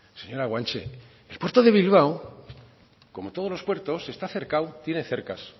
señora guanche el puerto de bilbao como todos los puertos está cercado tiene cercas